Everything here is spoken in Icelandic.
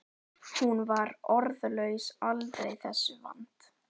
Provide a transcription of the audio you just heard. Hún var orðlaus aldrei þessu vant.